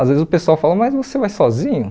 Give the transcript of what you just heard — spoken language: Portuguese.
Às vezes o pessoal fala, mas você vai sozinho?